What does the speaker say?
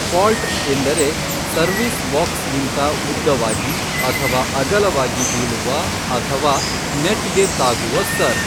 Fault ಎಂದರೆ service ಬಾಕ್ಸ್ಗಿಂತ ಉದ್ದವಾಗಿ ಅಥವಾ ಅಗಲವಾಗಿ ಬೀಳುವ ಅಥವಾ ನೆಟ್ಗೆ ತಾಗುವ ಸರ್ವ್.